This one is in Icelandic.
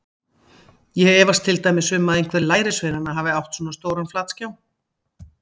Ég efast til dæmis um að einhver lærisveinanna hafi átt svona stóran flatskjá.